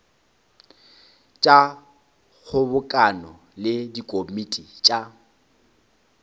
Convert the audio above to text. tša kgobokano le dikomiti tša